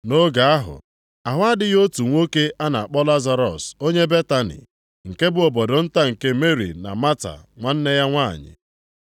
Nʼoge ahụ, ahụ adịghị otu nwoke a na-akpọ Lazarọs onye Betani, nke bụ obodo nta nke Meri na Mata nwanne ya nwanyị.